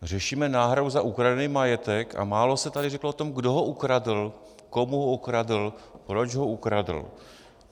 Řešíme náhradu za ukradený majetek a málo se tady řeklo o tom, kdo ho ukradl, komu ho ukradl, proč ho ukradl.